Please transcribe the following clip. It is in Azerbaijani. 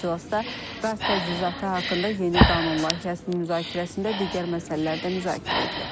İclasda qaz təchizatı haqqında yeni qanun layihəsinin müzakirəsində digər məsələlər də müzakirə edilib.